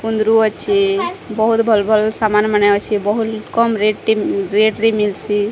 କୁନ୍ଦୁରୁ ଅଛେ ବହୁତ ଭଲ ଭଲ ମାନେ ଅଛେ ବହୁଲ କମ ରେଟ ଟି ରେଟ ରେ ମିଲସି।